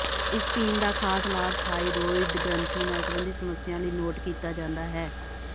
ਇਸ ਪੀਣ ਦਾ ਖਾਸ ਲਾਭ ਥਾਈਰੋਇਡ ਗ੍ਰੰਥੀ ਨਾਲ ਸੰਬੰਧਿਤ ਸਮੱਸਿਆਵਾਂ ਲਈ ਨੋਟ ਕੀਤਾ ਜਾਂਦਾ ਹੈ